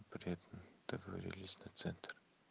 приятно договорились на центр